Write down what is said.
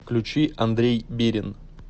включи андрей бирин